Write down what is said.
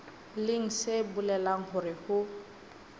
leng se bolelang hore ho